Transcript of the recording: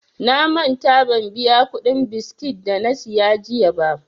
Na manta ban biya kuɗin biskit dana siya jiya ba.